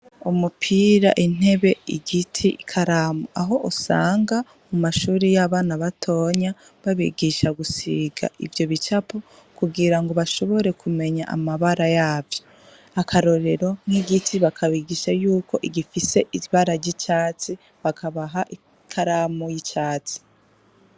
Umupira intebe igiti i karamu aho usanga mu mashuri y'abana batonya babigisha gusiga ivyo bicapo kugira ngo bashobore kumenya amabara yavyo akarorero nk'igiti bakabigisha yuko igifise ibara ry'icatsi bakabaha ikaramu y'icani.